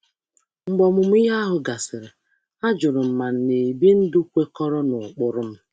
Mgbe ogbako ahụ gasịrị, m jụrụ ma m na-ebi ndụ kwekọrọ na ụkpụrụ m.